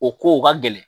O ko ka gɛlɛn